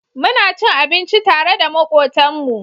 Muna cin abinci tare da makotan mu